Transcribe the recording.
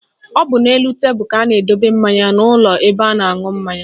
Ọ bụ n'elu tebelu ka a na-edobe mmanya n'ụlọ ebe a na-aṅụ mmanya